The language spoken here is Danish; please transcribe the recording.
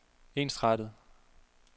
ensrettet